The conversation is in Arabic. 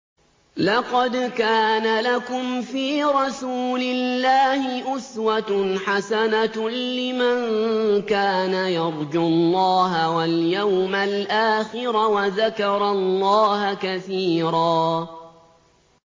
لَّقَدْ كَانَ لَكُمْ فِي رَسُولِ اللَّهِ أُسْوَةٌ حَسَنَةٌ لِّمَن كَانَ يَرْجُو اللَّهَ وَالْيَوْمَ الْآخِرَ وَذَكَرَ اللَّهَ كَثِيرًا